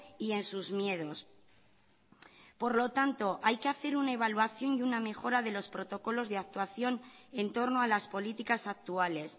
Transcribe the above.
y en sus miedos por lo tanto hay que hacer una evaluación y una mejora de los protocolos de actuación en torno a las políticas actuales